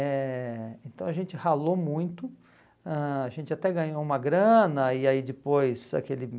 Eh então a gente ralou muito, ãh a gente até ganhou uma grana, e aí depois